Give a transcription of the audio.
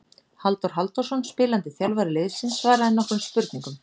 Halldór Halldórsson spilandi þjálfari liðsins svaraði nokkrum spurningum.